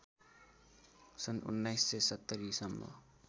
सन् १९७० सम्म